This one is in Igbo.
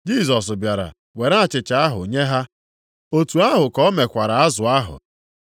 Jisọs bịara were achịcha ahụ nye ha. Otu ahụ ka o mekwara azụ ahụ.